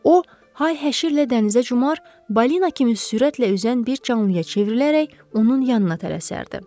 O hay-həşirlə dənizə cumar, balina kimi sürətlə üzən bir canlıya çevrilərək onun yanına tələsərdi.